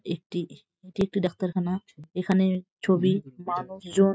একটি এটি একটি ডাক্তারখানা এখানে ছবি মানুষজন।